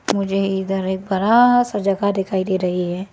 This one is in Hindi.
मुझे इधर एक बड़ा सा जगह दिखाई दे रही है।